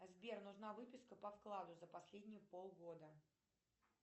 сбер нужна выписка по вкладу за последние полгода